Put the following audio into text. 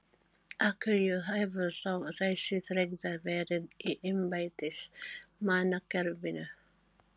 Af hverju hefur þá þessi tregða verið í embættismannakerfinu?